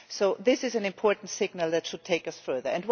So this is an important signal that should take us further.